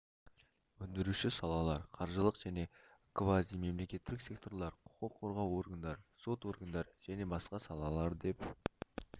өндіруші салалар қаржылық және квазимемлекеттік секторлар құқық қорғау органдары сот органдары және басқа салалар деп